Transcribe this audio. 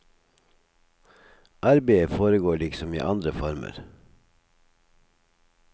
Arbeidet foregår liksom i andre former.